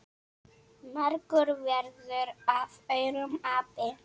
Margur verður af aurum api.